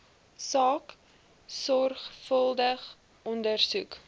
saak sorgvuldig ondersoek